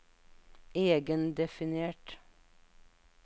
egendefinert